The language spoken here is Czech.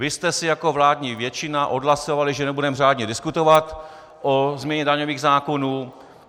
Vy jste si jako vládní většina odhlasovali, že nebudeme řádně diskutovat o změně daňových zákonů.